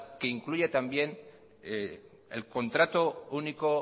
que incluya también el contrato único